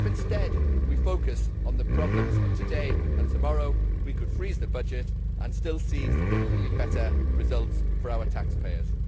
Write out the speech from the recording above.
If we focus on the problems of today and tomorrow instead, we could freeze the budget and still see significantly better results for our taxpayers.